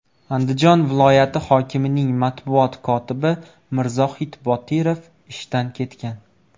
Andijon viloyati hokimining matbuot kotibi Mirzohid Botirov ishdan ketgan.